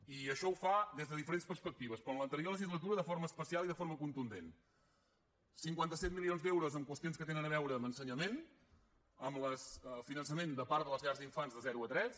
i això ho fa des de diferents perspectives però en l’anterior legislatura de forma especial i de forma contundent cinquanta set milions d’euros en qüestions que tenen a veure amb ensenyament amb el finançament de part de les llars d’infants de zero a tres